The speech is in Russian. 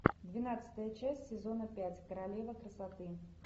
двенадцатая часть сезона пять королева красоты